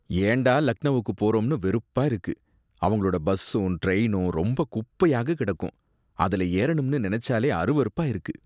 ஏண்டா லக்னவுக்கு போறோம்னு வெறுப்பா இருக்கு. அவங்களோட பஸ்ஸும் ட்ரெயினும் ரொம்ப குப்பையாக கிடக்கும், அதுல ஏறனும்னு நெனச்சாலே அருவருப்பா இருக்கு.